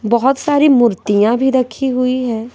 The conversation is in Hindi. बहोत सारी मूर्तियां भी रखी हुई है।